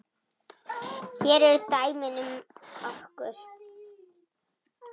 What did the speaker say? Hér eru dæmi um nokkur